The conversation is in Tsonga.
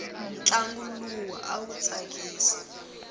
ntlangu luwa awu tsakisa